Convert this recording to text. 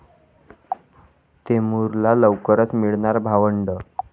तैमूरला लवकरच मिळणार भावंड!